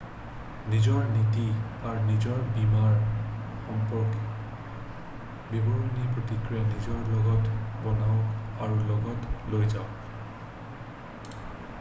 নিজৰ নীতি আৰু নিজৰ বীমাৰ সম্পৰ্কে বিৱৰণিৰ প্ৰক্ৰিয়া নিজৰ লগত বনাওক আৰু লগত লৈ যাওক